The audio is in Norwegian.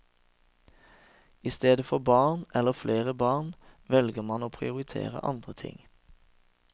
I stedet for barn, eller flere barn, velger mange å prioritere andre ting.